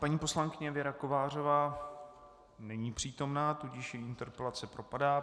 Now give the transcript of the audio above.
Paní poslankyně Věra Kovářová není přítomna, tudíž její interpelace propadá.